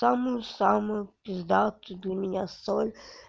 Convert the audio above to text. самую самую пиздатую для меня соль